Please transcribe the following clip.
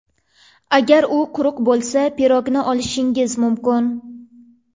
Agar u quruq bo‘lsa pirogni olishingiz mumkin.